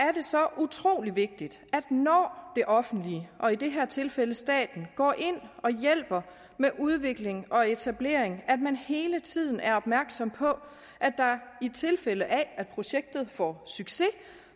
er det så utrolig vigtigt når det offentlige og i det her tilfælde staten går ind og hjælper med udvikling og etablering at man hele tiden er opmærksom på at der i tilfælde af at projektet får succes